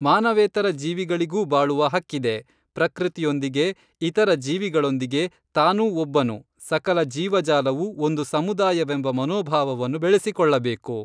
ಮಾನವೇತರ ಜೀವಿಗಳಿಗೂ ಬಾಳುವ ಹಕ್ಕಿದೆ, ಪ್ರಕೃತಿಯೊಂದಿಗೆ ಇತರ ಜೀವಿಗಳೊಂದಿಗೆ ತಾನೂ ಒಬ್ಬನು, ಸಕಲ ಜೀವಜಾಲವು ಒಂದು ಸಮುದಾಯವೆಂಬ ಮನೋಭಾವವನ್ನು ಬೆಳೆಸಿಕೊಳ್ಳಬೇಕು.